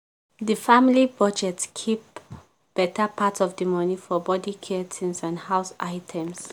the family budget keep better part of the money for body care things and house items.